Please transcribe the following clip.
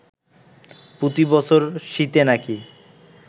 প্রতি বছর শীতে নাকি